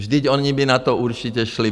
Vždyť oni by na to určitě šli.